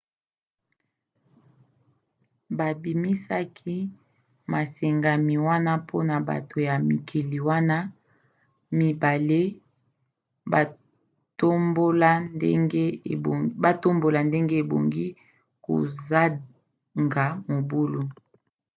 babimisaki masengami wana mpona bato ya mikili wana mibale batombola ndenge ebongi kozaga mobulu